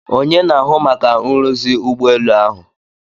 Onye na-ahụ maka nruzi ụgbọelu ahụ?